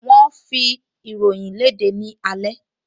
Wọ́n ń fi ìròyìn léde ní alẹ́